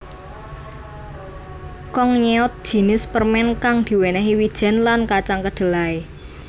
Kongnyeot jinis permen kang diwenehi wijen lan kacang kedelai